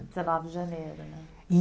Dezenove de janeiro né.